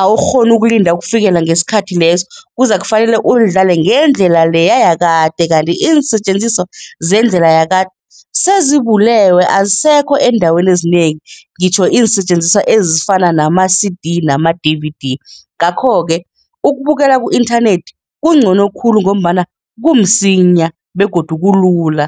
awukghoni ukulinda ukufikela ngesikhathi leso, kuzakufanele ulidlale ngendlela leya yakade kanti iinsetjenziswa zeendlela yakade sezibulewe, azisekho eendaweni ezinengi. Ngitjho iinsetjenziswa ezifana nama-C_D nama-D_V_D, ngakho-ke ukubukela ku-inthanethi kungcono khulu ngombana kumsinya begodu kulula.